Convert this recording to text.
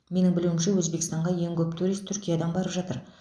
менің білуімше өзбекстанға ең көп турист түркиядан барып жатыр